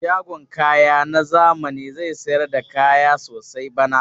Shagon kaya na zami zai sayar da kaya sosai bana.